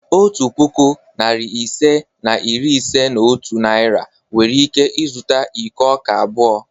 Otu puku, narị ise na iri ise na otu Naira nwere ike zụta iko ọka abụọ.